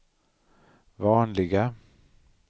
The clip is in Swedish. vanliga